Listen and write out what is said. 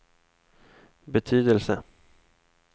betydelse